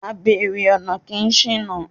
Abèrè ọ̀nà kì í ṣìnà.